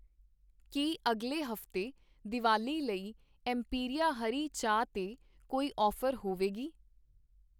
ਕੀ ਅਗਲੇ ਹਫ਼ਤੇ ਦੀਵਾਲੀ ਲਈ ਐੱਮਪੀਰੀਆ ਹਰੀ ਚਾਹ 'ਤੇ ਕੋਈ ਔਫ਼ਰ ਹੋਵੇਗੀ?